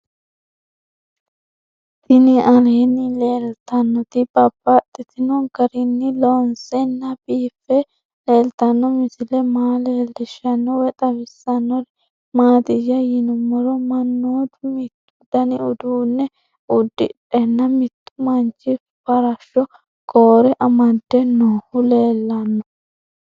Tinni aleenni leelittannotti babaxxittinno garinni loonseenna biiffe leelittanno misile maa leelishshanno woy xawisannori maattiya yinummoro mannoottu mittu danni uudunne udidhdhena mittu manchi farashsho koore amadde noohu leelanno